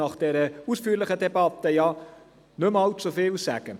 Nach dieser ausführlichen Debatte muss ich nicht mehr allzu viel sagen.